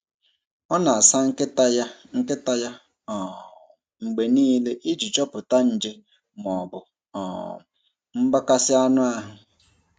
Ọ na-asa nkịta ya nkịta ya um mgbe niile iji chọpụta nje ma ọ bụ um mgbakasị anụ ahụ.